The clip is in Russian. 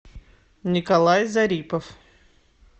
николай зарипов